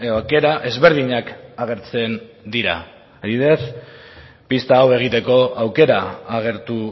aukera ezberdinak agertzen dira adibidez pista hau egiteko aukera agertu